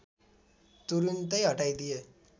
तुरून्तै हटाइदिए